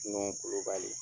Nuhu Kulubali.